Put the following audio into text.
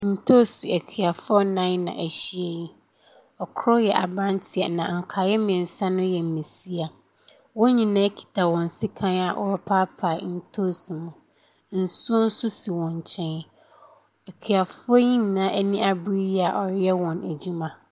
Ntoosi akuafoɔ nnan na ahyia yi, kor yɛ aberanteɛ na nkaeɛ mmiɛnsa no yɛ mmbasia. Wɔn nyinaa kita hɔn sekan a wɔrepaapaa ntoosi no, nsuo nso si wɔn nkyɛn. Na akuafoɔ yi nyinaa ani abere yie a wɔreyɛ wn adwuma.